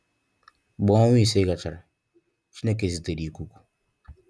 Mgbe onwa ise gachara, Chineke zitere ikuku.